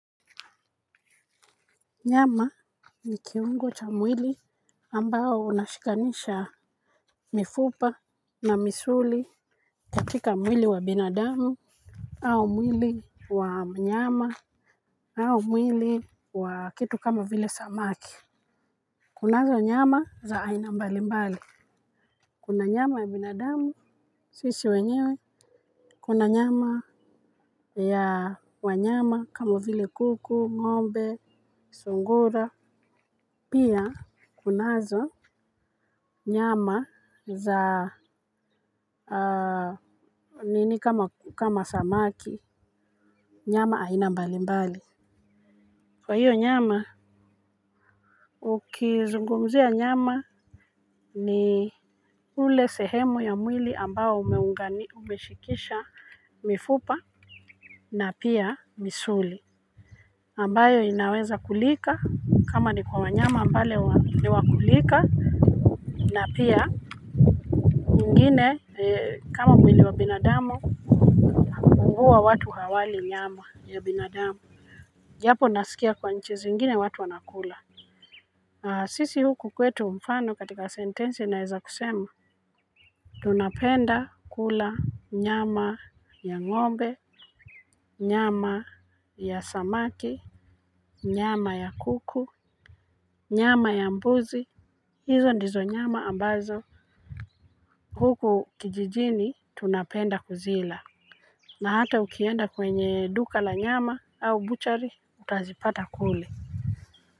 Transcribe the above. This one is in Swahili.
Nyama ni kiungo cha mwili ambao unashikanisha mifupa na misuli. Katika mwili wa binadamu au mwili wa mnyama au mwili wa kitu kama vile samaki. Kunazo nyama za aina mbali mbali. Kuna nyama ya binadamu sisi wenyewe. Kuna nyama ya wanyama kama vile kuku, ngombe, sungura. Pia kunazo nyama za nini kama samaki, nyama aina mbalimbali. Kwa hiyo nyama, ukizungumzia nyama ni ule sehemu ya mwili ambao umeshikisha mifupa na pia misuli. Ambayo inaweza kulika kama ni kwa wanyama ambale ni wakulika na pia kwingine kama mwili wa binadamu huwa watu hawali nyama ya binadamu japo nasikia kwa nchi zingine watu wanakula. Sisi huku kwetu mfano katika sentensi naeza kusema. Tunapenda kula nyama ya ngombe, nyama ya samaki, nyama ya kuku, nyama ya mbuzi. Hizo ndizo nyama ambazo huku kijijini tunapenda kuzila. Na hata ukienda kwenye duka la nyama au buchari utazipata kule.